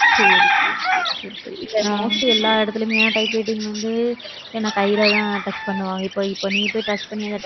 சரி சரி சரி சரி சரி எல்லா இடத்துலயுமே typewriting வந்து என்ன கையிலதான் touch பண்ணுவாங்க. இப்ப, இப்ப நீ போய் touch பண்ணி